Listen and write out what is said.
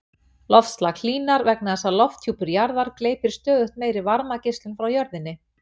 loftslag hlýnar vegna þess að lofthjúpur jarðar gleypir stöðugt meiri varmageislun frá jörðu